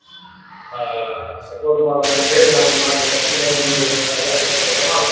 ಆಹ್ಹ್ support ಮಾಡಬೇಕ ಅಂಥೇಳಿ ನಾನ್ ಒಂದ್ ಮಾತ್ ಹೇಳ್ತೀನಿ ಮುಂದ ಇಂಥ ಎಲ್ಲ ಒಳ್ಳೆ ಕೆಲಸ ಮಾಡಬೇಕ.